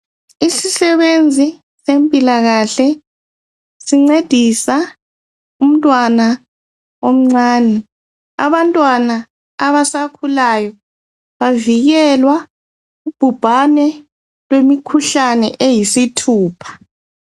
Isisebenzi sempilakahle sincedisa umntwana omncane. Abantwana abasakhulayo bavikelwa kubhubhane lwemikhuhlane eyisithupha.